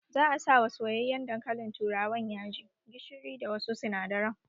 Za a sa wa soyayyen dankalin turawan yaji, gishiri da wasu sinadaran